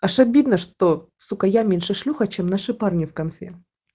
аж обидно что сука я меньше шлюха чем наши парни в конфе